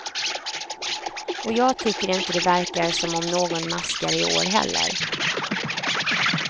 Och jag tycker inte det verkar som om någon maskar i år heller.